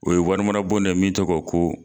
O ye wari bon ye min tɔgɔ ko